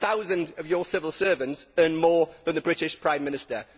A thousand of your civil servants earn more than the British Prime Minister.